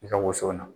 I ka woson na